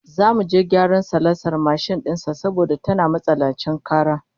Zamu je gyaran salansar mashin din sa saboda tana matsanancin kara